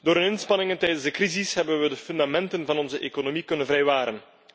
Door hun inspanningen tijdens de crisis hebben we de fundamenten van onze economie kunnen vrijwaren.